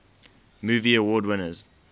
movie award winners